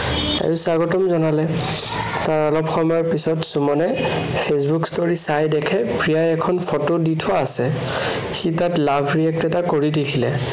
তাইও স্বাগতম জনালে। তাৰ অলপ সময়ৰ পিছত সুমনে facebook story চাই দেখে প্ৰিয়াই এখন photo দি থোৱা আছে। সি তাত love react এটা কৰি দিছিলে।